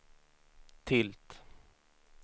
tilt